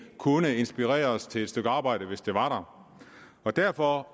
kunne inspireres til et stykke arbejde hvis det var der derfor